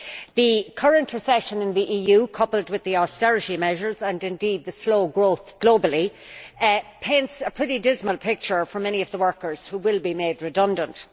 The current recession in the EU, coupled with the austerity measures and indeed slow growth globally, paints a pretty dismal picture for many of the workers who will be made redundant.